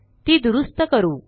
ती दुरूस्त करू